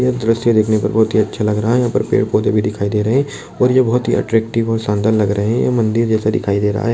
यह दृश्य देखने पर बहुत ही अच्छा लग रहा हैयहाँ पर पेड़-पौधे भी दिखाई दे रहा है और ये बहुत ही अट्रैक्टिव और शानदार लग रहे है ये मंदिर जैसा दिखाई दे रहा है।